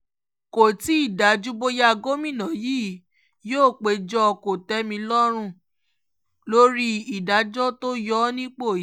kò tí ì dájú bóyá gómìnà yìí yóò péjọ kò-tẹ̀-mí-lọ́rùn lórí ìdájọ́ tó yọ ọ́ nípò yìí